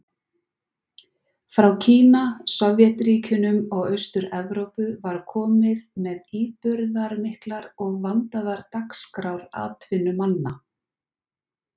Frá Kína, Sovétríkjunum og Austur-Evrópu var komið með íburðarmiklar og vandaðar dagskrár atvinnumanna.